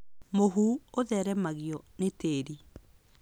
Mũhu ũtheremagio nĩ tĩri.